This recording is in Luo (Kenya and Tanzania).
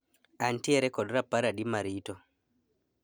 Antiere kod rapar adi ma rito